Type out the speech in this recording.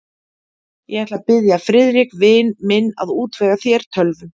Ég ætla að biðja Friðrik vin minn að útvega þér tölvu.